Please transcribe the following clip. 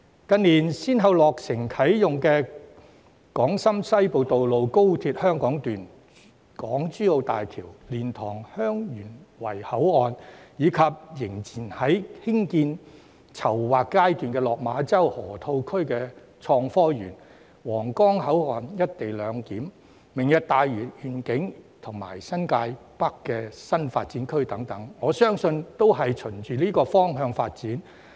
近年先後落成啟用的港深西部通道、高鐵香港段、港珠澳大橋、蓮塘/香園圍口岸，以及仍處於興建和籌劃階段的落馬洲河套地區創科園、皇崗口岸"一地兩檢"、"明日大嶼願景"及新界北新發展區等，我相信都是循這個方向發展。